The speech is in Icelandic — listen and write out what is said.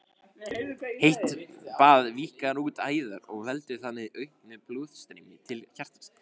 Heitt bað víkkar út æðar og veldur þannig auknu blóðstreymi til hjartans.